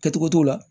Kɛcogo t'o la